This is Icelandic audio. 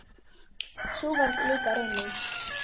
Sú varð líka raunin.